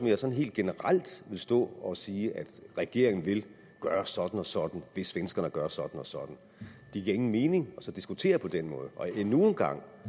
jeg sådan helt generelt vil stå og sige at regeringen vil gøre sådan og sådan hvis svenskerne gør sådan og sådan det giver ingen mening at diskutere på den måde endnu en gang